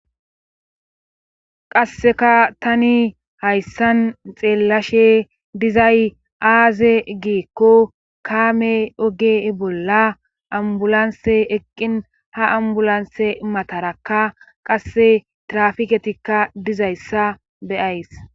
qasseka tani hayssan xeellashe dizay aaze giikko kaame oge bolla ambulanse eqqin ha ambulanse matarakka qasse trafiketikka dizayssa be'ays